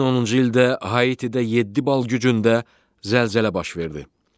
2010-cu ildə Haitidə 7 bal gücündə zəlzələ baş verdi.